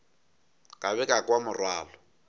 ka be ka kwa morwalo